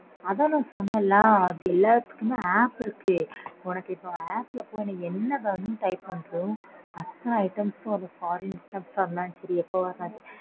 அதான் நான் சொன்னேன்ல அது எல்லாத்துக்குமே app இருக்கு. உனக்கு இப்போ app ல போயி என்ன வேணும்னு type பண்றியோ அத்தன items ம் வரும் foreign items ஆ இருந்தாலும் சரி எதுவா இருந்தாலும் சரி.